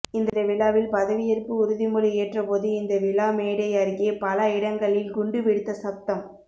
இந்த விழாவில் பதவியேற்பு உறுதிமொழி ஏற்றபோது இந்த விழா மேடை அருகே பல இடங்களில் குண்டு வெடித்த சப்தம்